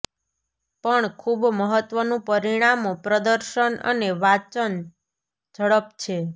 પણ ખૂબ મહત્વનું પરિમાણો પ્રદર્શન અને વાંચન ઝડપ છે